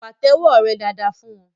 Pàtẹ́wọ́ rẹ dáadáa fún wọn!